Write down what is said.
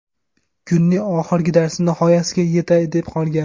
Kunning oxirgi darsi nihoyasiga yetay deb qolgan.